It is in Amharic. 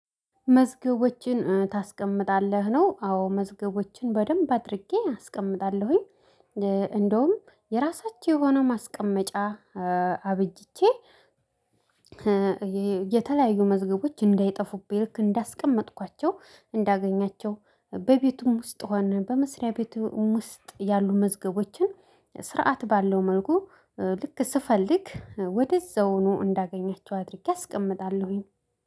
መዝገቦችን ታስቀምጣለህ ነው አዎ መዝገቦችን በደንብ አድርጌ አስቀምጣለሁኝ። እንደውም የራሳችሁ የሆነ ማስቀመጫ አብጄ የተለያዩ መዝገቦች እንዳይጠፉብኝ ልክ እንዳስቀመጥኳቸው እንዳገኛቸው። በቤቱም ውስጥ ሆነን በመስሪያ ቤቱም ውስጥ ያሉ መዝገቦችን። ስርዓት ባለው መልኩ ልክ ስፈልግ ወደዛው ነው እንዳገኛቸው አድርጌ አስቀምጣለሁኝ